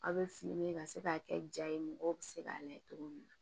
Aw bɛ ka se k'a kɛ ja ye mɔgɔw bɛ se k'a layɛ cogo min na